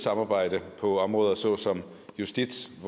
samarbejde på områder såsom justits